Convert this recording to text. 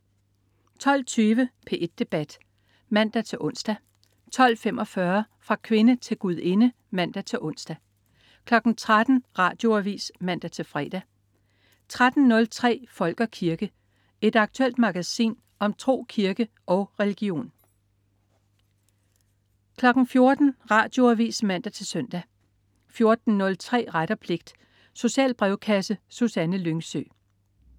12.20 P1 Debat (man-ons) 12.45 Fra kvinde til gudinde (man-ons) 13.00 Radioavis (man-fre) 13.03 Folk og kirke. Et aktuelt magasin om tro, kirke og religion 14.00 Radioavis (man-søn) 14.03 Ret og pligt. Social brevkasse. Susanne Lyngsø